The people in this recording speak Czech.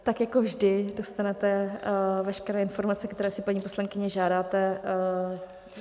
Tak jako vždy dostanete veškeré informace, které si, paní poslankyně, žádáte.